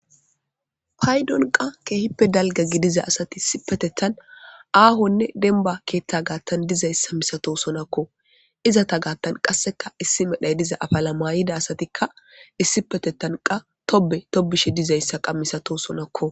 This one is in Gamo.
paydon qa keehippe dalga gidiza asati isipetetan aahonne denba keeththa gaattan dizayssa misatosonakko izata gaattan qasseka issi medhay diza afala mayida asatikka issipetetanqa tobe tobishe dizayssa qa misato sonakko